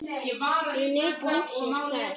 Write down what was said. Ég naut lífsins þar.